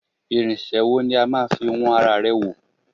Irinṣẹ́ wo ni a máa fi wọn ara rẹ̀ wò